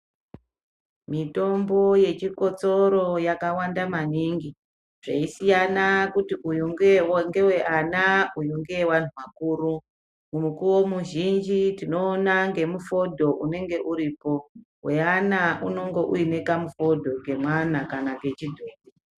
Mitombo yechikotsoro yakawanda maningi, zveisiyana kuti uyu ngeweana uyu ngeweanthu akuru. Mukuwo mizhinji tinoona nemifodho unenge uripo. Weana unenge une mufodho wemwana.